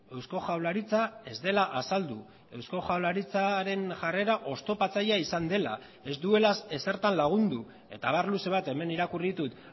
eusko jaurlaritza ez dela azaldu eusko jaurlaritzaren jarrera oztopatzailea izan dela ez duela ezertan lagundu eta abar luze bat hemen irakurri ditut